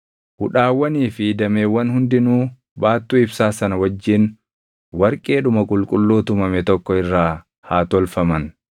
Hudhaawwanii fi dameewwan hundinuu baattuu ibsaa sana wajjin warqeedhuma qulqulluu tumame tokko irraa haa tolfaman.